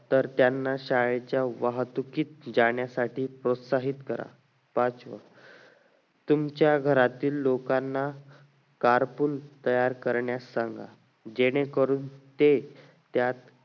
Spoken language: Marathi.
तर त्यांना शाळेच्या वाहतुकीत जाण्यासाठी प्रोत्साहित करा पाचवं तुमच्या घरातील लोकांना cartoon तयार कार्यांत सांगा जेणे करून ते त्यात